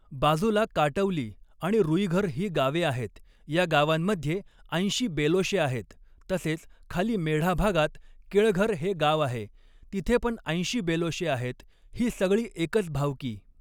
बाजूला काटवली आणि रूईघर ही गावे आहेत या गावांमधे ऐंशी बेलोशे आहेत, तसेच खाली मेढ़ा भागात केळघर हे गाव आहे तिथे पण ऐंशी बेलोशे आहेत ही सगळी एकच भावकी